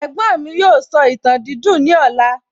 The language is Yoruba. Ẹ̀gbọ́n mi yóò sọ ìtàn dídùn ní ọ̀la